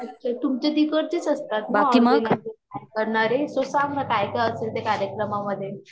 अच्छा तुमच्या तिकड़चेच असतात का सांग ना काय काय असता त्या कार्यक्रमा मधे